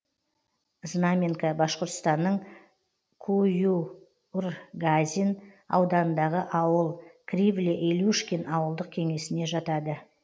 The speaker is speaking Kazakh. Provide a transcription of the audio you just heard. знаменка башқұртстанның куюргазин ауданындағы ауыл кривле илюшкин ауылдық кеңесіне жатады